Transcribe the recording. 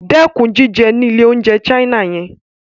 Dẹ́kun jíjẹ ní ilé-oúnjẹ China yẹn.